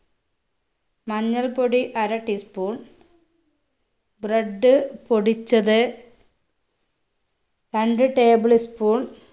മഞ്ഞൾപ്പൊടി അര tea spoon bread പൊടിച്ചത് രണ്ട് table sppon